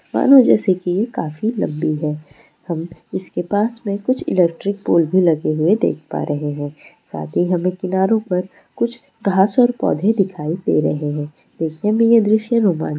मानो जैसे कि ये काफी लंबी है हम इसके पास में कुछ इलेक्ट्रिक पोल भी लगे हुए देख पा रहे है साथ ही हमे किनारों पर कुछ घास और पौधे दिखाई दे रहे है देखने में ये दृश्य रोमा --